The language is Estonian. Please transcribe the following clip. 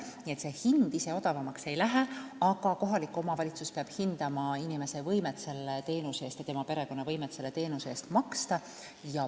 Nii et hind ise odavamaks ei lähe, aga kohalik omavalitsus peab hindama inimese ja tema perekonna võimet selle teenuse eest maksta.